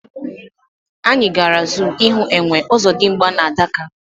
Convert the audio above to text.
Anyị gara zoo ịhụ Enwe, Ozodimgba na Adaka